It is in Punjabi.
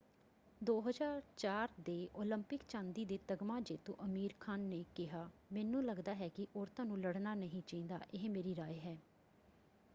2004 ਦੇ ਓਲੰਪਿਕ ਚਾਂਦੀ ਦੇ ਤਗਮਾ ਜੇਤੂ ਅਮੀਰ ਖਾਨ ਨੇ ਕਿਹਾ ਮੈਨੂੰ ਲੱਗਦਾ ਹੈ ਕਿ ਔਰਤਾਂ ਨੂੰ ਲੜਨਾ ਨਹੀਂ ਚਾਹੀਦਾ। ਇਹ ਮੇਰੀ ਰਾਇ ਹੈ।